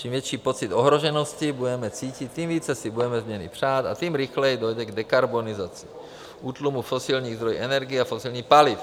Čím větší pocit ohroženosti budeme cítit, tím více si budeme změny přát a tím rychleji dojde k dekarbonizaci - útlumu fosilních zdrojů energie a fosilních paliv.